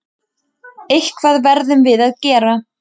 Eitthvað verðum við að gera.